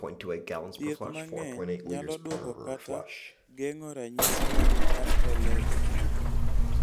Thieth mang�eny nyalo dwoko kata geng�o ranyisi mag RLS.